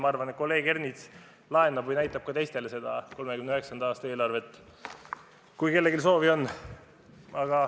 Ma arvan, et kolleeg Ernits laenab või näitab ka teistele seda 1939. aasta eelarvet, kui kellelgi soovi on.